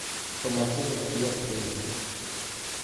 по мотивам стивена кинга